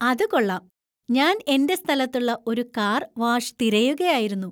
അത് കൊള്ളാം! ഞാൻ എന്‍റെ സ്ഥലത്തുള്ള ഒരു കാർ വാഷ് തിരയുകയായിരുന്നു.